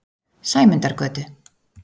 Sæmundargötu